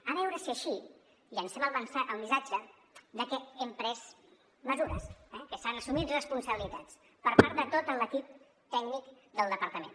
a veure si així llencem el missatge de que hem pres mesures eh que s’han assumit responsabilitats per part de tot l’equip tècnic del departament